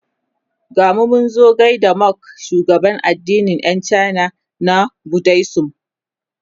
gamu Munzo gaida Monk shugaban addinin Yan china na budaism